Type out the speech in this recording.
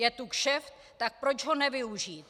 Je tu kšeft, tak proč ho nevyužít.